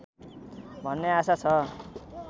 भन्ने आशा छ